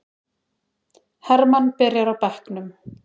Hermann byrjar á bekknum